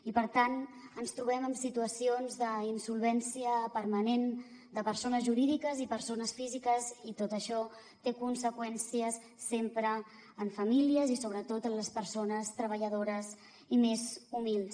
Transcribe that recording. i per tant ens trobem amb situacions d’insolvència permanent de persones jurídiques i persones físiques i tot això té conseqüències sempre en famílies i sobretot en les per sones treballadores i més humils